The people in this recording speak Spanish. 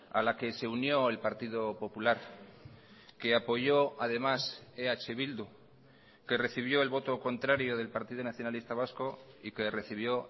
a la que se unió el partido popular que apoyó además eh bildu que recibió el voto contrario del partido nacionalista vasco y que recibió